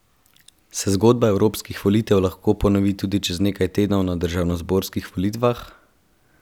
Se zgodba evropskih volitev lahko ponovi tudi čez nekaj tednov, na državnozborskih volitvah?